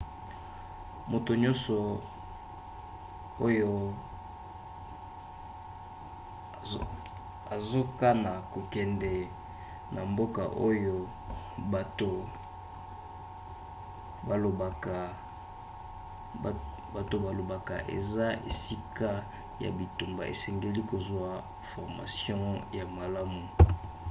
moto nyonso oyo azokana kokende na mboka oyo bato balobaka eza esika ya bitumba asengeli kozwa formation ya malamu